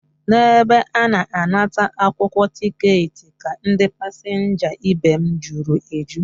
N'ebe a na-anata akwụkwọ ticketị ka ndị pasenja ibem juru eju